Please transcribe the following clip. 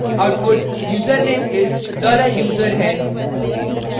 output username is $user है